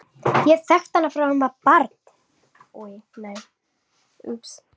Ég hef þekkt hana frá því að hún var barn.